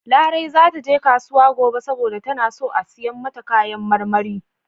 Larai za ta je kasuwa gobe saboda tana son siyan kayan marmari.